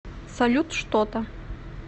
салют что то